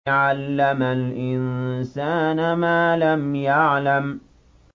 عَلَّمَ الْإِنسَانَ مَا لَمْ يَعْلَمْ